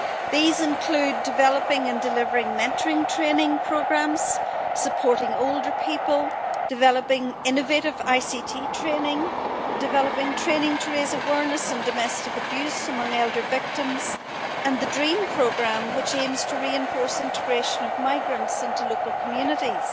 These include developing and delivering mentoring training programmes, supporting older people, developing innovative ICT training, developing training to raise awareness of domestic abuse among older victims and the DREAM programme, which aims to reinforce integration of migrants into local communities.